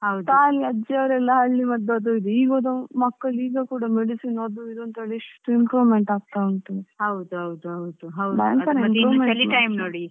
ಕಾಲಿ ಅಜ್ಜಿಯವರೆಲ್ಲ ಹಳ್ಳಿ ಮದ್ದು ಅದು ಇದು, ಈಗ ಓದೋ ಮಕ್ಳು ಕೂಡ medicine ಅದು ಇದು ಅಂತ ಎಷ್ಟು improvement ಆಗ್ತಾ ಉಂಟು.